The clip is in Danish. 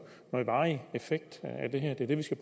varig effekt af det her det er det vi skal